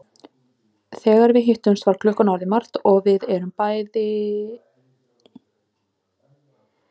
Þegar við hittumst var klukkan orðin margt og við erum dálítið lúin bæði tvö.